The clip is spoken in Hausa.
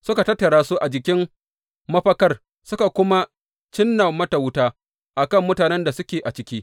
Suka tattara su a jikin mafakar suka kuma cinna mata wuta a kan mutanen da suke a ciki.